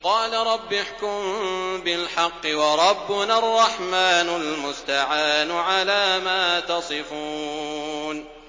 قَالَ رَبِّ احْكُم بِالْحَقِّ ۗ وَرَبُّنَا الرَّحْمَٰنُ الْمُسْتَعَانُ عَلَىٰ مَا تَصِفُونَ